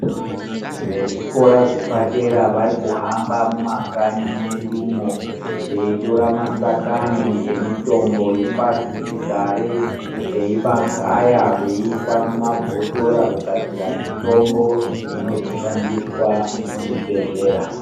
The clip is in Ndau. Vezvikora zvepadera varikuhamba mumakanyi medumo veitora masakani emitombo yepasi chigare. Veimagaya veiisa mumabhotora kugadzira mitombo ino zoshandiswa muzvi bhedhlera.